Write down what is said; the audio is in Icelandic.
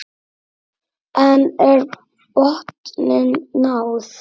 En er botninum náð?